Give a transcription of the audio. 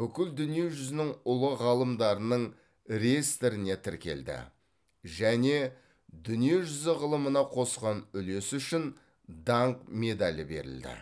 бүкіл дүние жүзінің ұлы ғалымдарының реестріне тіркелді және дүние жүзі ғылымына қосқан үлесі үшін даңқ медалі берілді